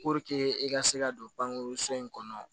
e ka se ka don bange so in kɔnɔ